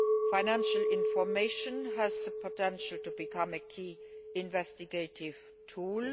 Financial information has the potential to become a key investigative tool.